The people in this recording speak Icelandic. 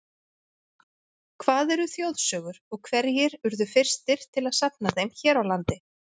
Hvað eru þjóðsögur og hverjir urðu fyrstir til að safna þeim hér á landi?